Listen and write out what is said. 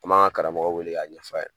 An m'a ka karamɔgɔ wele k'a ɲɛf'a ye